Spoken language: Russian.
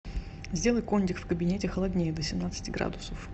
сделай кондик в кабинете холоднее до семнадцати градусов